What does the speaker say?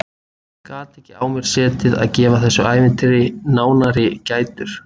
Gat ekki á mér setið að gefa þessu ævintýri nánari gætur.